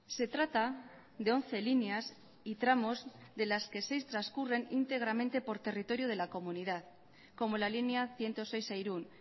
se trata de once líneas y tramos de las que seis transcurren íntegramente por territorio de la comunidad como la línea ciento seis a irún